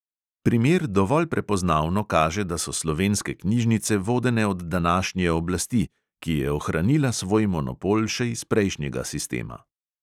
Primer dovolj prepoznavno kaže, da so slovenske knjižnice vodene od današnje oblasti, ki je ohranila svoj monopol še iz prejšnjega sistema.